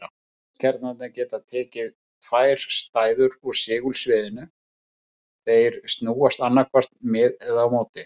Vetniskjarnarnir geta tekið tvær stöður í segulsviðinu, þeir snúast annaðhvort með eða á móti því.